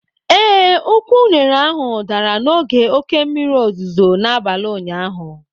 ee, ukwu unere ahụ dara n'oge oke mmiri ozuzo n'abalị ụnyaahụ